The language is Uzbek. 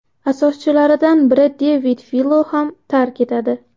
asoschilaridan biri Devid Filo ham tark etadi.